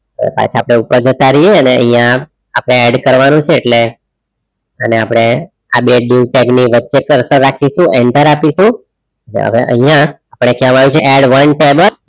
પાછા આપણે ઉપર જતા રહીએ અને અહીંયા આપણે add કરવાનું છે. એટલે એને આપણે આ બે diue tag ની વચ્ચે coarser રાખીશું. enter આપીશું. અને હવે અહીંયા આપણે કહેવામાં આવ્યું છે add one table